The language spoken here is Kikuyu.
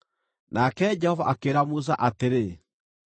Nake Jehova akĩĩra Musa atĩrĩ,